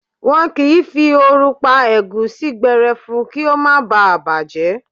Wọn kì í fi ooru pa ẹ̀gúsí gbẹrẹfu kí ó má ba à bàjẹ́.